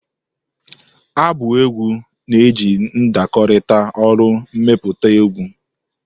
Abụ egwu na-eji ndakọrịta olu emepụta egwu.